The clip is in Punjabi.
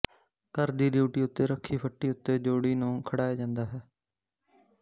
ਘਰ ਦੀ ਡਿਉਢੀ ਉੱਤੇ ਰੱਖੀ ਫੱਟੀ ਉੱਤੇ ਜੋੜੀ ਨੂੰ ਖੜਾਇਆ ਜਾਂਦਾ ਹੈ